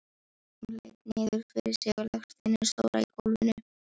Hún leit niður fyrir sig á legsteininn stóra í gólfinu.